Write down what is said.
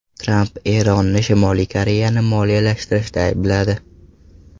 Tramp Eronni Shimoliy Koreyani moliyalashtirishda aybladi.